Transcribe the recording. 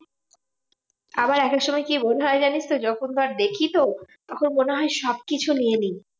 আমার একেকসময় কি মনে হয় জানিসতো? যখন ধর দেখিত তখন মনে হয় সবকিছু নিয়ে নি।